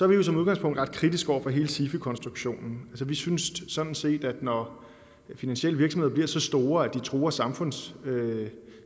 vi jo som udgangspunkt ret kritiske over for hele sifi konstruktionen vi synes sådan set at når finansielle virksomheder bliver så store at de truer samfundssikkerheden